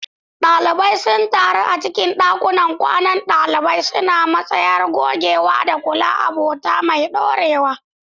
Dalibai sun taru a cikin dakunan kwanan dalibai, suna musayar gogewa da kulla abota mai dorewa.